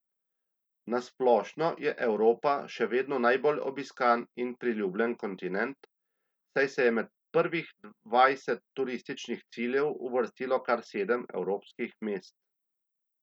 Na splošno je Evropa še vedno najbolj obiskan in priljubljen kontinent, saj se je med prvih dvajset turističnih ciljev uvrstilo kar sedem evropskih mest.